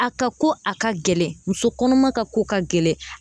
A ka ko a ka gɛlɛn musokɔnɔma ka ko ka gɛlɛn